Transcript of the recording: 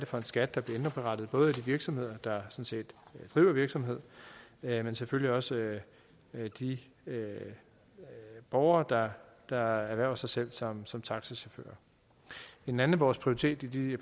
for en skat der bliver indberettet både af de virksomheder der driver virksomhed men selvfølgelig også af de borgere der ernærer sig som sig som taxachauffør en anden af vores prioriteter i